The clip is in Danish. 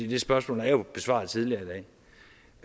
det spørgsmål er jo besvaret tidligere